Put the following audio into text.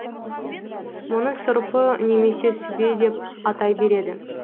мұны сұрпы немесе сүбе деп атай береді